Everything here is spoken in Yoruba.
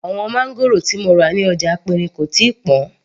Àwọn máńgòrò tí mo rà ní ọjà aperin kò tíì pọn